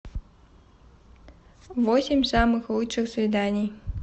восемь самых лучших свиданий